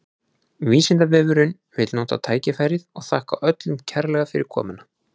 Vísindavefurinn vill nota tækifærið og þakka öllum kærlega fyrir komuna!